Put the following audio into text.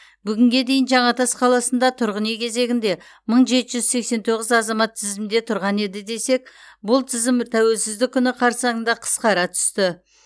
бүгінге дейін жаңатас қаласында тұрғын үй кезегінде мың жеті жүз сексен тоғыз азамат тізімде тұрған еді десек бұл тізім тәуелсіздік күні қарсаңында қысқара түсті